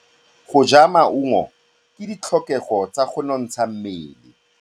Go ja maungo ke ditlhokegô tsa go nontsha mmele.